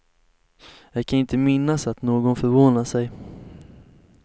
Jag kan inte minnas att någon förvånade sig.